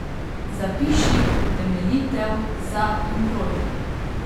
Zapiši utemeljitev za in proti.